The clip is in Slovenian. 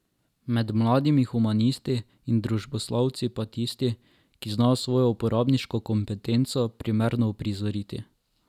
Med mladimi humanisti in družboslovci pa tisti, ki znajo svojo uporabniško kompetenco primerno uprizoriti.